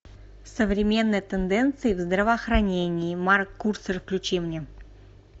современные тенденции в здравоохранении марк курцер включи мне